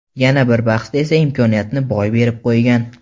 Yana bir bahsda esa imkoniyatni boy berib qo‘ygan.